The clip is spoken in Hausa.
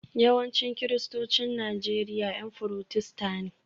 Yawancin Kiristocin Najeriya 'Yan Furotesta ne